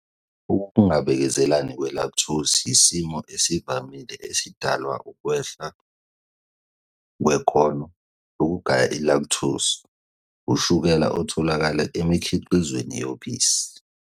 Ukungabekezelelani kwe-Lactose yisimo esivamile esidalwa ukwehla kwekhono lokugaya i-lactose, ushukela otholakala emikhiqizweni yobisi.